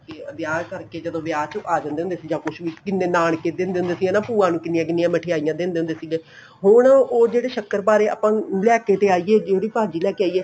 ਵਿਆਹ ਕਰਕੇ ਜਦੋਂ ਵਿਆਹ ਕੇ ਆਂ ਜਾਂਦੇ ਹੁੰਦੇ ਸੀ ਜਾਂ ਕੁੱਝ ਵੀ ਕਿੰਨੇ ਨਾਨਕੇ ਦਿੰਦੇ ਹੁੰਦੇ ਸੀ ਹਨਾ ਭੂਆ ਨੂੰ ਕਿੰਨੀਆਂ ਕਿੰਨੀਆਂ ਮਿਠਾਈਆਂ ਦਿੰਦੇ ਹੁੰਦੇ ਸੀ ਹੁਣ ਉਹ ਜਿਹੜੇ ਸੱਕਰਪਾਰੇ ਆਪਾਂ ਲੈਕੇ ਤੇ ਆਈ ਏ ਜਿਹੜੀ ਭਾਜ਼ੀ ਲੈਕੇ ਆਈਏ